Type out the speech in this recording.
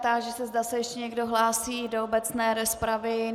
Táži se, zda se ještě někdo hlásí do obecné rozpravy.